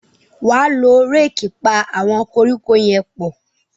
wá ló Réèkì pá àwọn koríko yén pọ